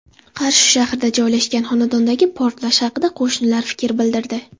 Qarshi shahrida joylashgan xonadondagi portlash haqida qo‘shnilar fikr bildirdi.